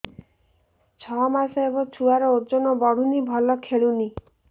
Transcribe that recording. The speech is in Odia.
ଛଅ ମାସ ହବ ଛୁଆର ଓଜନ ବଢୁନି ଭଲ ଖେଳୁନି